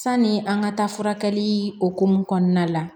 Sani an ka taa furakɛli hokumu kɔnɔna la